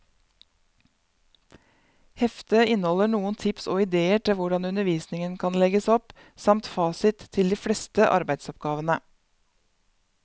Heftet inneholder noen tips og idéer til hvordan undervisningen kan legges opp, samt fasit til de fleste arbeidsoppgavene.